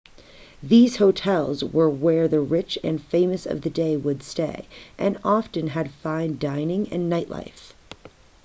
these hotels were where the rich and the famous of the day would stay and often had fine dining and nightlife